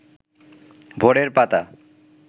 ভোরের পাতা